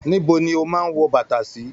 Níbo ni o máa n wọ bàtà sí?